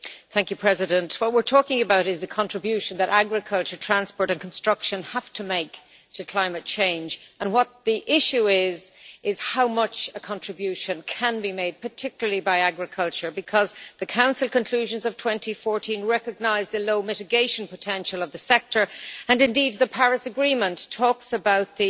Mr President, what we are talking about is the contribution that agriculture, transport and construction have to make to climate change. The issue is how much of a contribution can be made, particularly by agriculture, because the Council conclusions of 2014 recognise the low mitigation potential of the sector and, indeed, the Paris Agreement talks about the